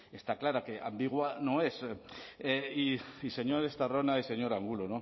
está clara que ambigua no es y señor estarrona y señor angulo